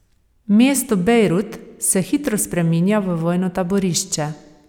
Mesto Bejrut se hitro spreminja v vojno taborišče.